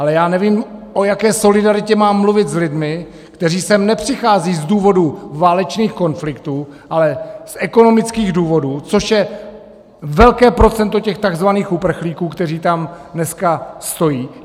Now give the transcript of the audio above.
Ale já nevím, o jaké solidaritě mám mluvit s lidmi, kteří sem nepřicházejí z důvodu válečných konfliktů, ale z ekonomických důvodů, což je velké procento těch takzvaných uprchlíků, kteří tam dneska stojí.